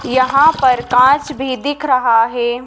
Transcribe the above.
यहाँ पर कांच भीं दिख रहा हैं।